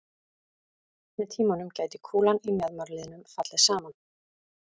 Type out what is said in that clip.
Með tímanum gæti kúlan í mjaðmarliðnum fallið saman.